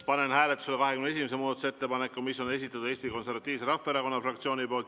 Panen hääletusele 21. muudatusettepaneku, mille on esitanud Eesti Konservatiivse Rahvaerakonna fraktsioon.